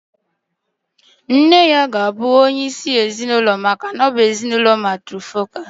Nne ya ga-abụ onye isi ezinụlọ maka na ọ bụ ezinụlọ matrifocal.